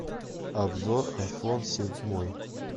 обзор айфон седьмой